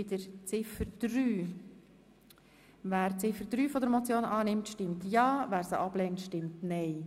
Wer Ziffer 3 der Motion annimmt, stimmt ja, wer sie ablehnt, stimmt nein.